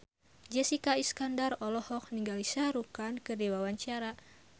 Jessica Iskandar olohok ningali Shah Rukh Khan keur diwawancara